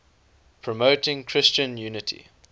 promoting christian unity